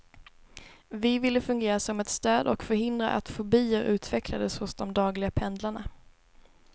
Vi ville fungera som ett stöd och förhindra att fobier utvecklades hos de dagliga pendlarna.